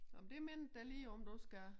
Nå men det mindede dig lige om at du skal